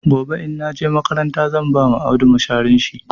Gobe in na je makaranta zan ba Audu masharin shi.